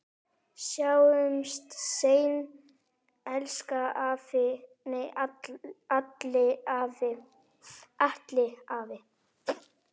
Sjáumst seinna, elsku Alli afi.